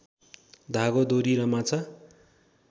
धागो डोरी र माछा